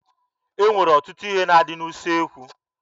E nwere ọtụtụ ihe na-adị n'usekwu